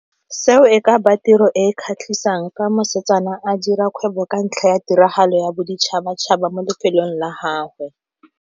Seo e ka ba tiro e e kgatlhisang ka mosetsana a dira kgwebo ka ntlha ya tiragalo ya boditšhabatšhaba mo lefelong la gagwe.